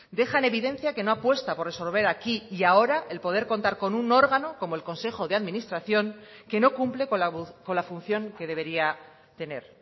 deja en evidencia que no apuesta por resolver aquí y ahora el poder contar con un órgano como el consejo de administración que no cumple con la función que debería tener